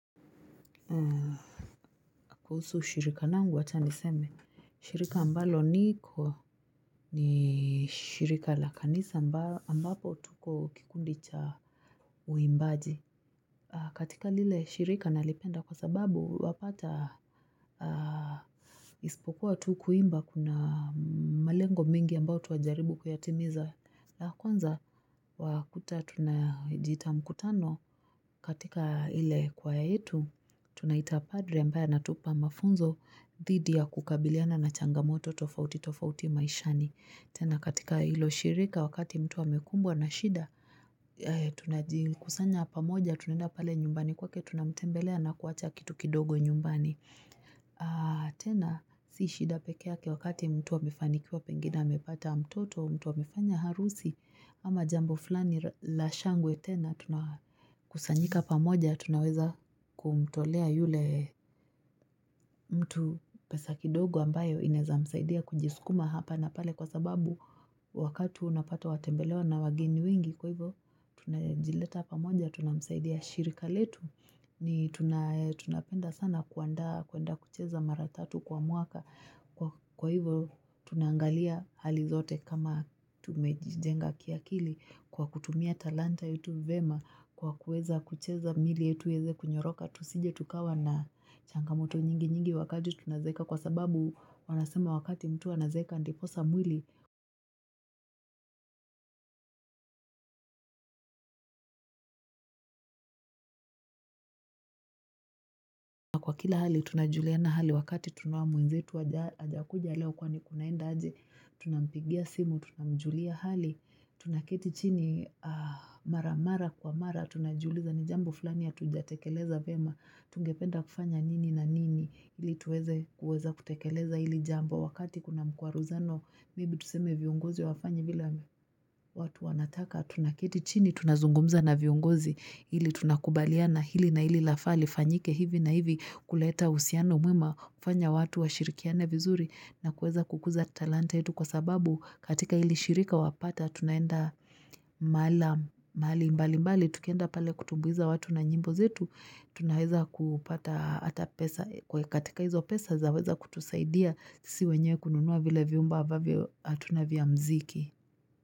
Kuhusu shirika langu wacha niseme shirika ambalo niko ni shirika la kanisa ambapo tuko kikundi cha uimbaji katika lile shirika nalipenda kwa sababu wapata Ispokuwa tu kuimba kuna malengo mengi ambao twajaribu kuyatimiza la kwanza wakuta tunajiita mkutano katika ile choir yetu, tunaita padre ambaye anatupa mafunzo dhidi ya kukabiliana na changamoto tofauti tofauti maishani. Tena katika ilo shirika wakati mtu amekumbwa na shida, tunajikusanya pamoja tunaenda pale nyumbani kwake tunamtembelea na kuacha kitu kidogo nyumbani. Ah tena si shida pekeyake wakati mtu amefanikiwa pengine amepata mtoto mtu amefanya harusi ama jambo fulani la shangwe tena kusanyika pamoja tunaweza kumtolea yule mtu pesa kidogo ambayo inezamsaidia kujiskuma hapa na pale Kwa sababu wakatu unapata watembelewa na wageni wengi kwa hivyo Tunajileta pamoja tunamsaidia shirika letu ni tunapenda sana kuandaa kuenda kucheza mara tatu kwa mwaka Kwa hivyo tunaangalia hali zote kama tumejijenga kiakili Kwa kutumia talanta yetu vyema Kwa kuweza kucheza miili yetu iweze kunyoroka Tusije tukawa na changamoto nyingi nyingi wakati tunazeeka Kwa sababu wanasema wakati mtu anazeeka ndiposa mwili Kwa kila hali tunajuliana hali wakati tunaona mwenzetu ajakuja leo kwani kunaenda aje Tunampigia simu, tunamjulia hali Tunaketi chini maramara kwa mara Tunajiuliza ni jambo fulani hatujatekeleza vyema Tungependa kufanya nini na nini ili tuweze kutekeleza hili jambo Wakati kuna mkwaruzano Maybe tuseme vionguzi hawafanyi vile watu wanataka Tunaketi chini tunazungumza na viongozi ili tunakubaliana hili na hili lafaa lifanyike hivi na hivi kuleta uhusiano mwema kufanya watu wa shirikiane vizuri na kuweza kukuza talanta yetu kwa sababu katika hili shirika wapata tunaenda mahali mbali mbali tukienda pale kutumbuiza watu na nyimbo zetu tunaweza kupata hata pesa katika hizo pesa zaweza kutusaidia sisi wenyewe kununua vile vyumba ambavyo hatuna vya muziki.